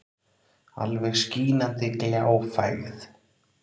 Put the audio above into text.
Alveg skínandi gljáfægð.